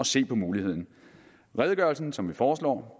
se på muligheden redegørelsen som vi foreslår